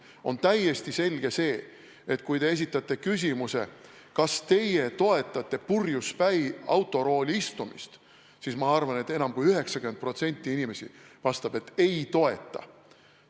On täiesti selge see, et kui te esitate küsimuse, kas teie toetate purjuspäi autorooli istumist, siis ma arvan, et enam kui 90% inimesi vastab, et ei toeta.